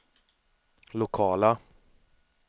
lokala